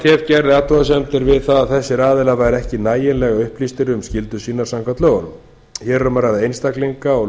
fatf gerði athugasemdir við það að þessir aðilar væru ekki nægilega upplýstir um skyldur sínar samkvæmt lögunum hér er um að ræða